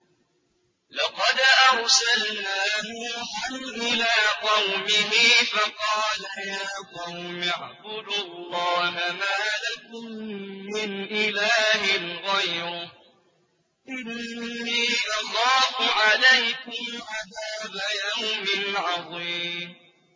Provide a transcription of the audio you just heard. لَقَدْ أَرْسَلْنَا نُوحًا إِلَىٰ قَوْمِهِ فَقَالَ يَا قَوْمِ اعْبُدُوا اللَّهَ مَا لَكُم مِّنْ إِلَٰهٍ غَيْرُهُ إِنِّي أَخَافُ عَلَيْكُمْ عَذَابَ يَوْمٍ عَظِيمٍ